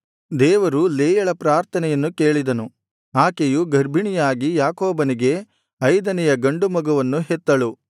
ದೇವರು ಲೇಯಳ ಪ್ರಾರ್ಥನೆಯನ್ನು ಕೇಳಿದನು ಆಕೆಯು ಗರ್ಭಿಣಿಯಾಗಿ ಯಾಕೋಬನಿಗೆ ಐದನೆಯ ಗಂಡು ಮಗುವನ್ನು ಹೆತ್ತಳು